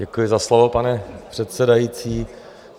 Děkuji za slovo, pane předsedající.